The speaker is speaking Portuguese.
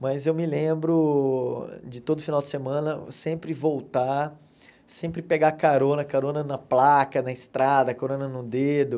Mas eu me lembro de todo final de semana sempre voltar, sempre pegar carona, carona na placa, na estrada, carona no dedo.